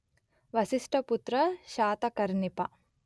వశిష్టపుత్ర శాతకర్ణి పా